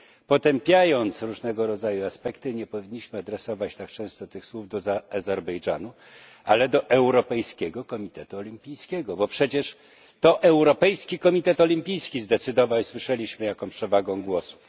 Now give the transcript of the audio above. Potępiając różnego rodzaju aspekty, nie powinniśmy adresować tak często tych słów do Azerbejdżanu, ale do Europejskiego Komitetu Olimpijskiego, bo przecież to Europejski Komitet Olimpijski zdecydował, i właśnie słyszeliśmy, jaką przewagą głosów.